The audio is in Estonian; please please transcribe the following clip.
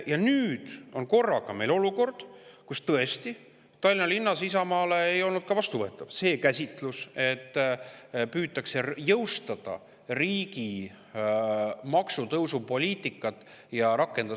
Ja nüüd on korraga meil olukord, kus tõesti ei olnud Tallinna linnas Isamaale vastuvõetav see käsitlus, et püütakse jõustada ja rakendada riigi maksutõusupoliitikat ka Tallinnas.